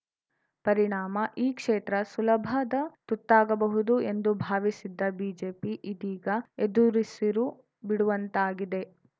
ಪರಿಣಾಮ ಈ ಕ್ಷೇತ್ರ ಸುಲಭದ ತುತ್ತಾಗಬಹುದು ಎಂದು ಭಾವಿಸಿದ್ದ ಬಿಜೆಪಿ ಇದೀಗ ಏದುರುಸಿರು ಬಿಡುವಂತಾಗಿದೆ